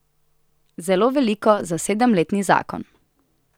Zelo veliko za sedemletni zakon.